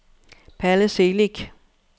Palle Celik